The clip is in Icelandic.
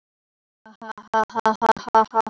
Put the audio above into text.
Sigvarður stóð upp og gekk út að glugga.